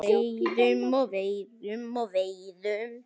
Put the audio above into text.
Veiðum og veiðum og veiðum.